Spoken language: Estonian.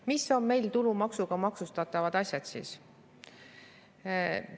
Mis on meil tulumaksuga maksustatavad asjad?